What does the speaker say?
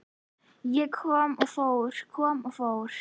Ég kom og fór, kom og fór.